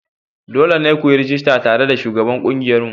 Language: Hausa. Dole ne ku yi rajista tare da shugaban ƙungiyarmu.